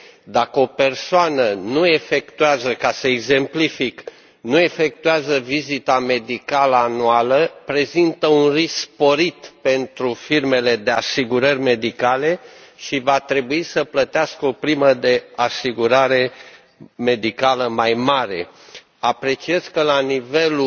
Dacă o persoană, ca să exemplific, nu efectuează vizita medicală anuală, prezintă un risc sporit pentru firmele de asigurări medicale și va trebui să plătească o primă de asigurare medicală mai mare. Apreciez că, la nivelul